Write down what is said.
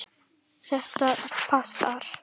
Þetta passar.